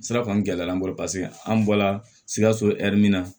Sira kɔni gɛlɛya an bolo paseke an bɔla sikaso hɛri min na